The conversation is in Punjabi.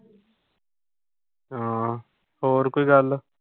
ਹਮ ਹੋਰ ਕੋਈ ਗੱਲ